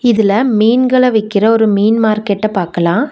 இதுல மீன்கள விக்கிற ஒரு மீன் மார்க்கெட்ட பாக்கலா.